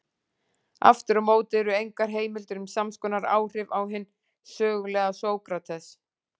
Aftur á móti eru engar heimildir um samskonar áhrif á hinn sögulega Sókrates.